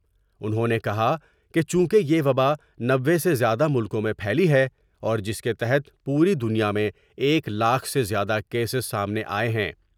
انہوں نے کہا کہ چونکہ یہ وبا نوے سے زیادہ ملکوں میں پھیلی ہے اور جس کے تحت پوری دنیا میں ایک لاکھ سے زیادہ کیس سامنے آۓ ہیں ۔